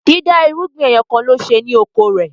dida irúgbìn ẹyọkanlo ṣe ni oko rẹ.